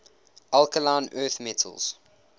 alkaline earth metals